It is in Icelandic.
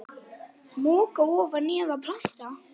Moka ofan í eða planta?